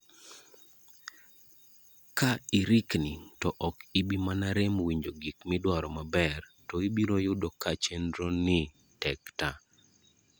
Ka irikni to ok ibi mana rem winjo gik midwaro maber, to ibiro yudo ka chenroni tek ta.